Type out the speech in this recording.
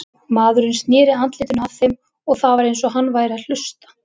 Maðurinn sneri andlitinu að þeim og það var eins og hann væri að hlusta.